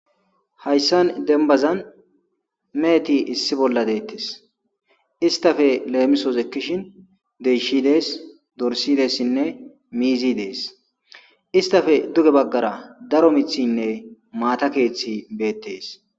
hayssan dembazan meeheti issi bolla deettes istafe leemisos ekkishin deshiy dees dorssi dessinne miizi dees istafe duge baggara daro mithinne maatakeeththi beettees